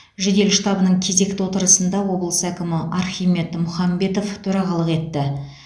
жедел штабының кезекті отырысында облыс әкімі архимед мұхамбетов төрағалық етті